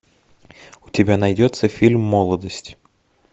у тебя найдется фильм молодость